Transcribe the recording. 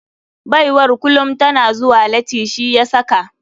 Baiwar kulum tana zuwa lati shi yasaka.